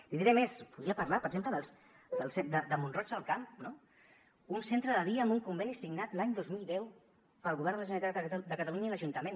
li diré més podria parlar per exemple de mont roig del camp no un centre de dia amb un conveni signat l’any dos mil deu pel govern de la generalitat de catalunya i l’ajuntament